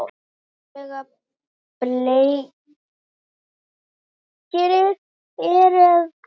Sjúklega bleikir eru að koma!